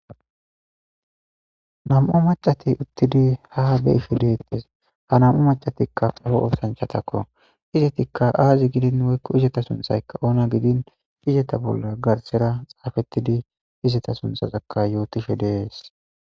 Nam'u macati uttidi ha beishe deettes ha nam'u macatikka oo oosanchatakko izetikka aazi gidin woykko izeta sunthaykka oona gidin izeta bolla garsera xaafettidi izeta sunthasakka yootishe deees.